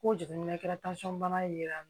Ko jiginni na i kɛra bana ye